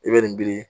I bɛ nin wili